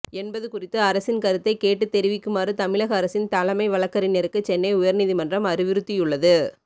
என்பது குறித்து அரசின் கருத்தை கேட்டு தெரிவிக்குமாறு தமிழக அரசின் தலைமை வழக்கறிஞருக்கு சென்னை உயர் நீதிமன்றம் அறிவுறுத்தியுள்ளது